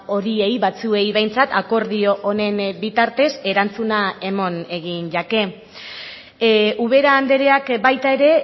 horiei batzuei behintzat akordio honen bitartez erantzuna eman egin jake ubera andreak baita ere